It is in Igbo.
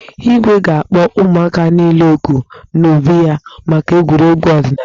Igwe ga-akpo ụmụaka niile òkù n'obi ya maka egwuregwu ọdịnaala.